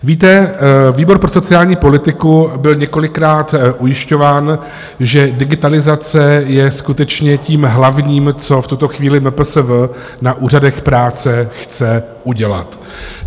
Víte, výbor pro sociální politiku byl několikrát ujišťován, že digitalizace je skutečně tím hlavním, co v tuto chvíli MPSV na úřadech práce chce udělat.